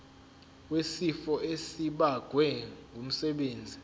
wesifo esibagwe ngumsebenzi